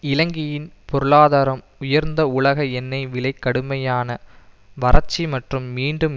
இலங்கையின் பொருளாதாரம் உயர்ந்த உலக எண்ணெய் விலை கடுமையான வரட்சி மற்றும் மீண்டும்